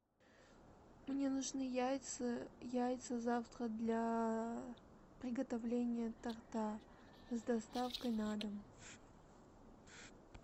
мне нужны яйца яйца завтра для приготовления торта с доставкой на дом